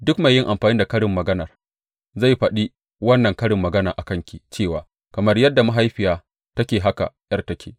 Duk mai yin amfani da karin magana zai faɗi wannan karin magana a kanki cewa, Kamar yadda mahaifiya take haka ’yar take.